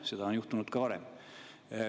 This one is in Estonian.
Seda on juhtunud ka varem.